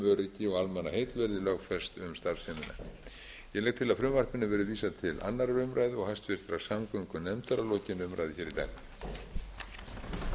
öryggi og almannaheill verði lögfest um starfsemina ég legg til að frumvarpinu verði vísað til annarrar umræðu og háttvirtrar samgöngunefndar að lokinni umræðu í dag